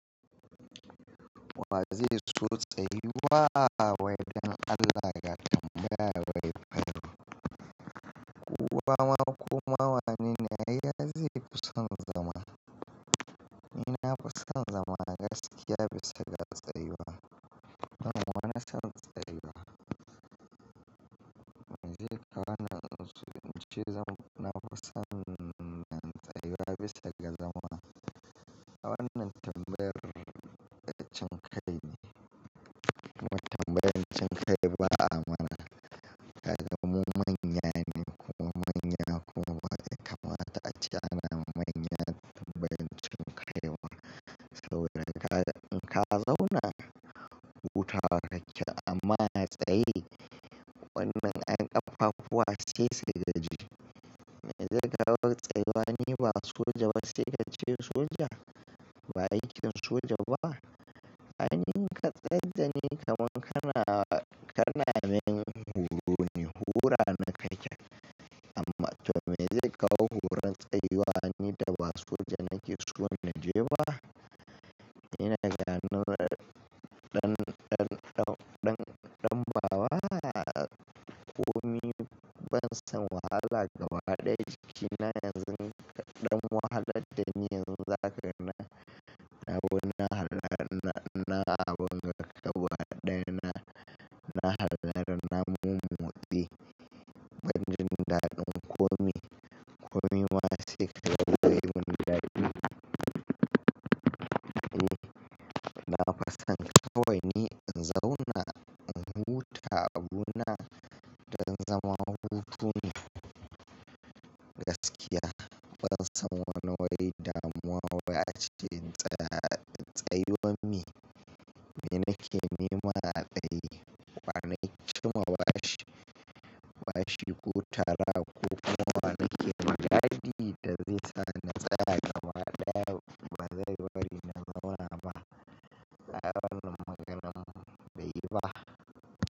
Waziri tsutsa yiwa waidan Allah ya tambaya wai kai kuwa makoma wane na yi dashi kusan zama? Nafi son zama gaskiya bisa ga tsayuwa. Wana san tsayuwa. Me zai kawo nan zuci? Me zamu na kusan nan tsayuwa bisa ga zama? Wannan tambayar dacin kai ne. Kuma tambayan cin kai ba a mana. Kaga mu manya ne kuma manya bai kamata ace ana manyan tambayan cin kai ba. Saboda kaga in ka zauna huta wa ka ke amma a tsaye wannan 'yan ƙafafuwa sai sai gaji. Me zai kawo tsayuwa ne ba soja ba sai ka ce soja? Ba aikin soja ba? Ai ni in ka tsai dani kaman kana kanamin horo ne hora ni ka ke. Amma to me zai kawo horon tsayuwa ni da ba soja nake so na je ba? Ina gano ɗan, ɗan, ɗan, ɗan, ɗan bawa a komi ban san wahala gaba ɗaya jiki na yanzu ɗan wahalad da ni yanzu za ka na na bu na har har, na abun gaba ɗaya na, na halara na mumu tse Ban jin daɗin komi, komi ma sai ka ga gari gundari. E, na fason kawai ni in zauna in huta abuna da zama hutun gaskiya. Ban san wani wai da muwa wai ace in tsaya tsayuwan me. Me nake nema a tsaye? Wa na ci ma bashi bashi kutara ko kuma wa nake magadi da zai sa na tsaya gaba ɗaya ba zai bari na zauna ba. Ai wannan maganan bai yi ba.